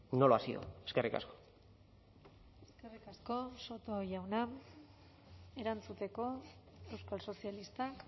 no lo ha sido eskerrik asko eskerrik asko soto jauna erantzuteko euskal sozialistak